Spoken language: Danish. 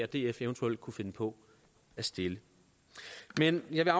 df eventuelt kunne finde på at stille men jeg vil